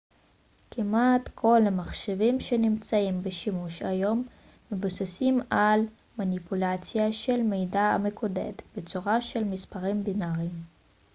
כמעט כל המחשבים שנמצאים בשימוש היום מבוססים על מניפולציה של מידע המקודד בצורה של מספרים בינאריים